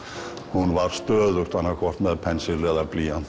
hún var stöðugt annað hvort með pensil eða blýant